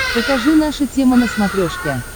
покажи наша тема на смотрешке